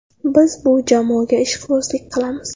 Biz bu jamoaga ishqibozlik qilamiz.